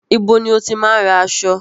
Ibo ni o ti máa ń ra aṣọ?